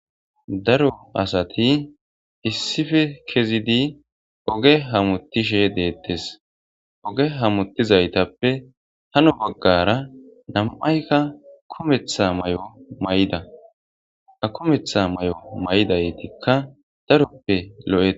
Daro asati issife kezidi oge hamutishe deettes oge hamutizaytappe hano baggara nam7aykka kometha may7o may7ida a kometha may7o may7idaytikka daroppe lo7es.